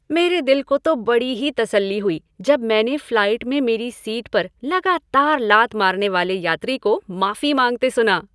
मेरे दिल को तो बड़ी ही तसल्ली हुई जब मैंने फ़्लाइट में मेरी सीट पर लगातार लात मारने वाले यात्री को माफ़ी माँगते सुना।